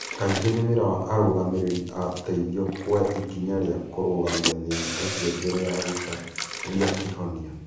Kaingĩ nĩ wĩra wa arũgamĩrĩri a ũteithio kuoya ikinya rĩa kũrũgamia thĩna ũcio mbere ya gũcaria kĩhonia.